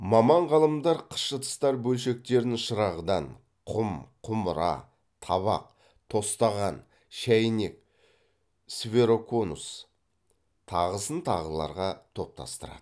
маман ғалымдар қыш ыдыстар бөлшектерін шырағдан құм құмыра табақ тостаған шәйнек сфероконус тағысын тағыларға топтастырады